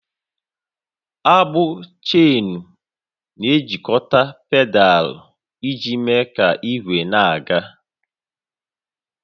Agbụ Cheenu na-ejikọta pedal iji mee ka ígwé na-aga